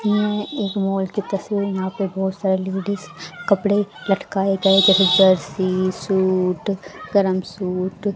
यह एक मॉल की तस्वीर यहाँ पे बहोत सारी लेडीज कपड़े लटकाए गए जर्सी सूट गरम सूट --